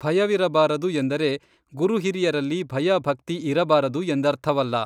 ಭಯವಿರಬಾರದು ಎಂದರೆ ಗುರುಹಿರಿಯರಲ್ಲಿ ಭಯ-ಭಕ್ತಿ ಇರಬಾರದು ಎಂದಥರ್ವಲ್ಲ.